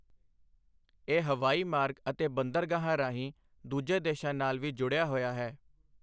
ਇਹ ਹਵਾਈ ਮਾਰਗ ਅਤੇ ਬੰਦਰਗਾਹਾਂ ਰਾਹੀਂ ਦੂਜੇ ਦੇਸ਼ਾਂ ਨਾਲ ਵੀ ਜੁੜਿਆ ਹੋਇਆ ਹੈ।